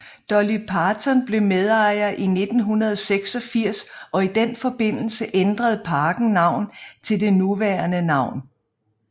Dolly Parton blev medejer i 1986 og i den forbindelse ændrede parken navn til det nuværende navn